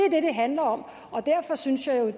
handler om og derfor synes jeg jo